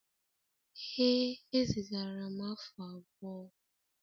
Ee ezigara m afu abuo.